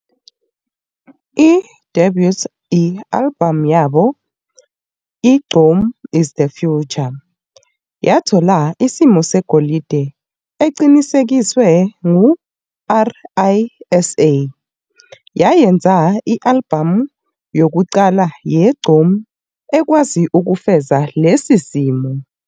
I-Debut i-albhamu yabo i-"Gqom Is The Future" yathola isimo segolide eqinisekisiwe ngu-RiSA, yayenza i-albhamu yokuqala yeGqom ekwazi ukufeza lesi simo.